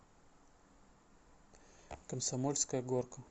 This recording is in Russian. комсомольская горка